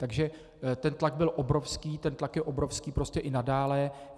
Takže ten tlak byl obrovský, ten tlak je obrovský prostě i nadále.